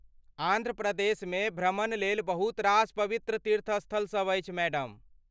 आन्ध्र प्रदेशमे भ्रमणलेल बहुत रास पवित्र तीर्थस्थल सभ अछि, मैडम।